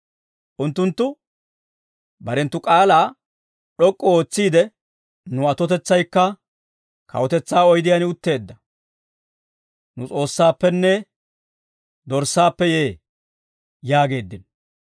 Unttunttu barenttu k'aalaa d'ok'k'u ootsiide, «Nu atotetsaykka, kawutetsaa oydiyaan utteedda, nu S'oossaappenne Dorssaappe yee» yaageeddino.